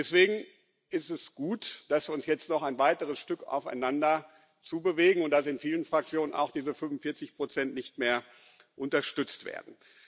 Deswegen ist es gut, dass wir uns jetzt noch ein weiteres Stück aufeinander zu bewegen und dass in vielen Fraktionen auch diese 45 nicht mehr unterstützt werden.